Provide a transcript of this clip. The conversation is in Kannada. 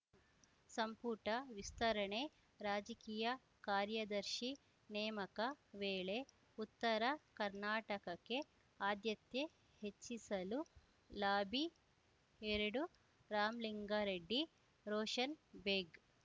ಸಂಪುಟ ವಿಸ್ತರಣೆ ರಾಜಕೀಯ ಕಾರ್ಯದರ್ಶಿ ನೇಮಕ ವೇಳೆ ಉತ್ತರ ಕರ್ನಾಟಕಕ್ಕೆ ಆದ್ಯತೆ ಹೆಚ್ಚಿಸಲು ಲಾಬಿ ಎರಡು ರಾಮ್ಲಿಂಗಾರೆಡ್ಡಿ ರೋಷನ್‌ ಬೇಗ್‌